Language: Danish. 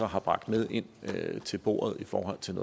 har bragt med ind til bordet i forhold til